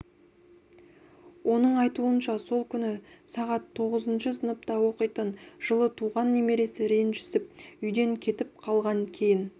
оның айтуынша сол күні сағат тоғызыншы сыныпта оқитын жылы туған немересі ренжісіп үйден кетіп қалған кейін